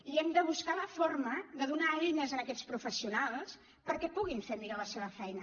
i hem de buscar la forma de donar eines a aquests professionals perquè puguin fer millor la seva feina